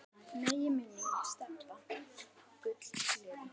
Megi minning Stebba Gull lifa.